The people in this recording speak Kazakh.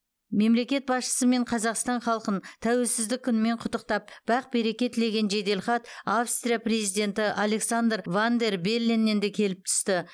мемлекет басшысы мен қазақстан халқын тәуелсіздік күнімен құттықтап бақ береке тілеген жеделхат австрия президенті александр ван дер белленнен де келіп түсті